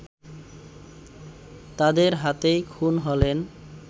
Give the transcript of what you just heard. তাদের হাতেই খুন হলেন